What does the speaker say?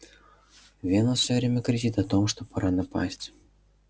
венус все время кричит о том что пора напасть